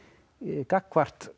gagnvart